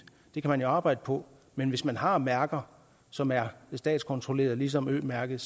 det kan man jo arbejde på men hvis man har mærker som er statskontrollerede ligesom ø mærket